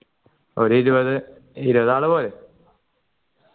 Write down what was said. ഒരു ഇരുപത് ഇരുപതാൾ പോരെ